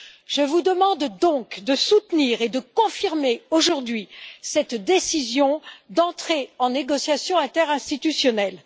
Je vous demande donc de soutenir et de confirmer aujourd'hui cette décision d'entrer en négociations interinstitutionnelles.